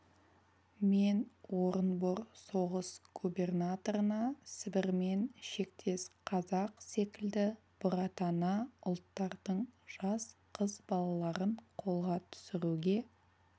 мен орынбор соғыс губернаторына сібірмен шектес қазақ секілді бұратана ұлттардың жас қыз балаларын қолға түсіруге